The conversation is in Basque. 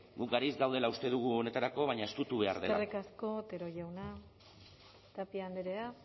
gu garaiz gaudela uste dugu honetarako baina estutu behar dela eskerrik asko otero jauna tapia andrea